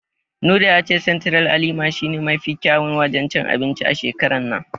Nura ya ce Sentiral a Lima shi ne mafi kyawun wajen cin anbinci a shekarar nan.